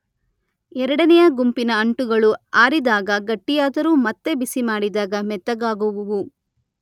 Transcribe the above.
ಎರಡನೆಯ ಗುಂಪಿನ ಅಂಟುಗಳು ಆರಿದಾಗ ಗಟ್ಟಿಯಾದರೂ ಮತ್ತೆ ಬಿಸಿ ಮಾಡಿದಾಗ ಮೆತ್ತಗಾಗುವುವು.